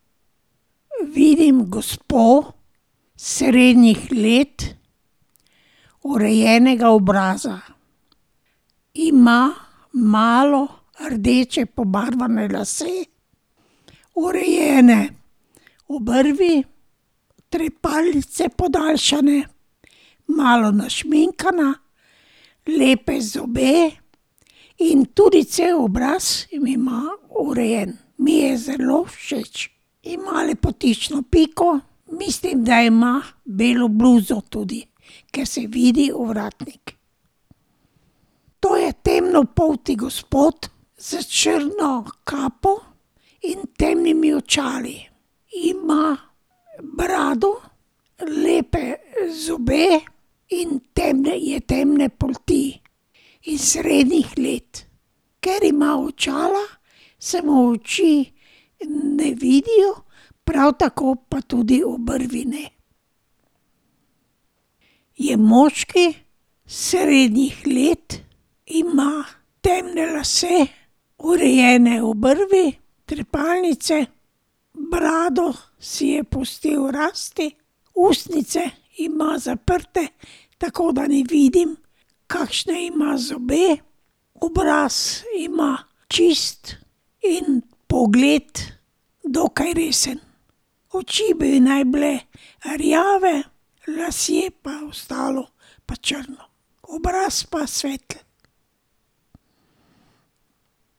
Vidim gospo, srednjih let, urejenega obraza. Ima malo rdeče pobarvane lase, urejene obrvi, trepalnice podaljšane, malo našminkana, lepe zobe in tudi cel obraz ima urejen. Mi je zelo všeč. Ima lepotično piko, mislim, da ima belo bluzo tudi, ker se vidi ovratnik. To je temnopolti gospod, s črno kapo in temnimi očali. Ima brado, lepe zobe in temne je temne polti in srednjih let. Ker ima očala, se mu oči ne vidijo. Prav tako pa tudi obrvi ne. Je moški, srednjih let, ima temne lase, urejene obrvi, trepalnice, brado si je pustil rasti, ustnice ima zaprte, tako da ne vidim, kakšne ima zobe, obraz ima čist in pogled dokaj resen. Oči bi naj bile rjave lasje pa ostalo pa črno. Obraz pa svetel.